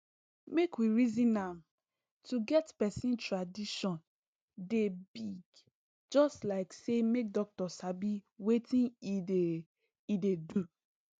make we reason am to get person tradition dey big just like say make doctor sabi wetin e dey e dey do